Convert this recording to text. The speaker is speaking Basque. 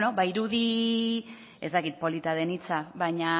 irudi ez dakit polita den hitza baina